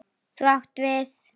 Þú átt við.